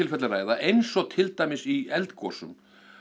eins og til dæmis í eldgosum